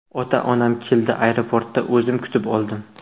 Ota-onam keldi, aeroportda o‘zim kutib oldim.